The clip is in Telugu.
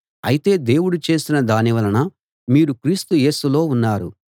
అయితే దేవుడు చేసిన దానివలన మీరు క్రీస్తు యేసులో ఉన్నారు